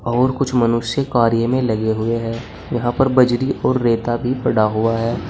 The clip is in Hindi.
और कुछ मनुष्य कार्य में लगे हुए हैं यहां पर बजरी और रेता भी पड़ा हुआ है।